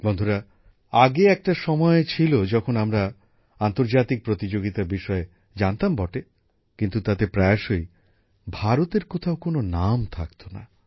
বন্ধুরা আগে একটা সময় ছিল যখন আমরা আন্তর্জাতিক প্রতিযোগিতার বিষয়ে জানতাম বটে কিন্তু তাতে প্রায়শই ভারতের কোথাও কোনো নাম থাকত না